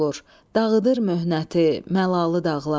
Dağıdır möhnəti, məlalı dağlar.